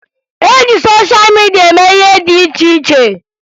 E ji sosha midia eme ihe dị iche iche